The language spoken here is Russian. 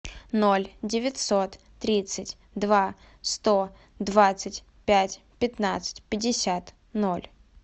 ноль девятьсот тридцать два сто двадцать пять пятнадцать пятьдесят ноль